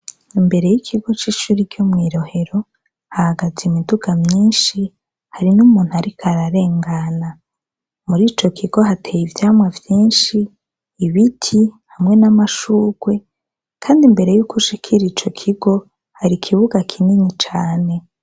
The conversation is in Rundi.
Imbere y'ikigo c'ishure ryo mw'i Rohero hahagaze imiduga myinshi, harimwo umuntu ariko ararengana. Muri ico kigo hateye ivyamwa vyinshi, ibiti hamwe n'amashugwe kandi imbere yuko ushikira ico kigo hari ikibuga kinini cane.